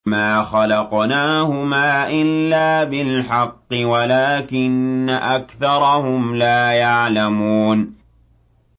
مَا خَلَقْنَاهُمَا إِلَّا بِالْحَقِّ وَلَٰكِنَّ أَكْثَرَهُمْ لَا يَعْلَمُونَ